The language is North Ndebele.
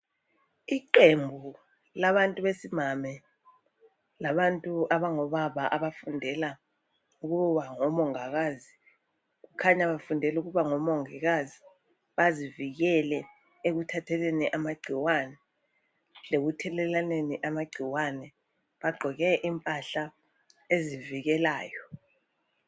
iqembu labantu besimami labantu abangobaba abafundela ukuba ngomongikazi kukhanya bafundela ukuba ngo mongikazi bazivikele ekuthatheleni amagcikwane lekuthelelwaneni amagcikwane bagqoke impahla ezivikelayo